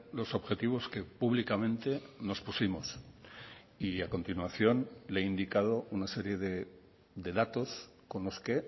los objetivos que públicamente nos pusimos y a continuación le he indicado una serie de datos con los que